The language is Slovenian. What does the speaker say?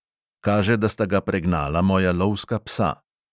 Kaže, da sta ga pregnala moja lovska psa.